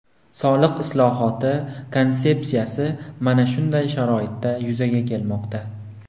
Soliq islohoti konsepsiyasi mana shunday sharoitda yuzaga kelmoqda.